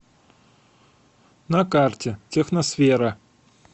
на карте техносфера